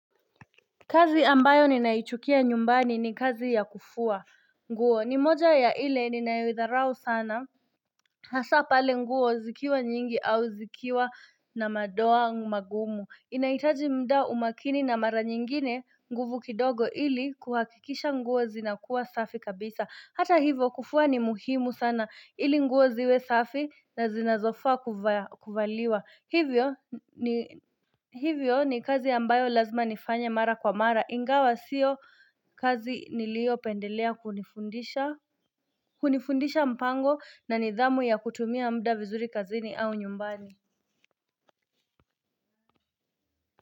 Kazi ambayo ninayoichukia nyumbani ni kazi ya kufua nguo ni moja ya ile ninayoidharau sana Hasa pale nguo zikiwa nyingi au zikiwa na madoa magumu inahitaji muda umakini na mara nyingine nguvu kidogo ili kuhakikisha nguo zinakuwa safi kabisa Hata hivo kufua ni muhimu sana ili nguo ziwe safi na zinazofaa kuva kuvaliwa hivyo Hivyo ni kazi ambayo lazima nifanye mara kwa mara ingawa sio kazi niliopendelea kunifundisha mpango na nidhamu ya kutumia muda vizuri kazini au nyumbani.